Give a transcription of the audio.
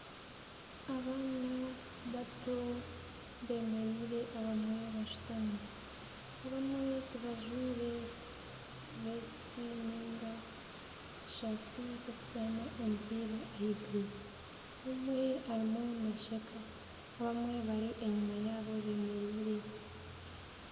Abaana bato bemereire abamwe bashutami abamwe ti bajwaire vesiti niga esaati z'okuzaana omupiira ahaiguru omwe arimu naasheka abamwe bari enyuma yaabo bemereire.